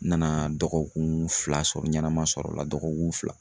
N nana dɔgɔkun fila sɔrɔ ɲɛnɛma sɔrɔ o la dɔgɔkun fila